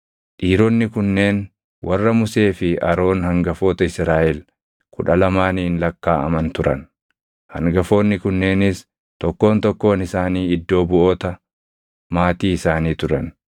Dhiironni kunneen warra Musee fi Aroon hangafoota Israaʼel kudha lamaaniin lakkaaʼaman turan; hangafoonni kunneenis tokkoon tokkoon isaanii iddoo buʼoota maatii isaanii turan.